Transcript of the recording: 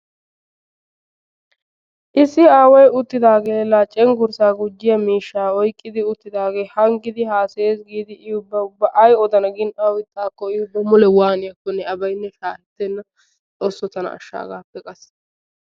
issi aaway uttidaagee la cenggurssa gujiyaa miishshaa oyqqidi uttidaagee hanggidi hasayayiis giidi i ubba ay odana aw ixxaakko i ubba waaniyaanokke abaaynne shaakisenna xoossoo tana ashsha hagaappe qassi.